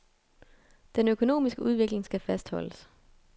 Den økonomiske udvikling skal fastholdes.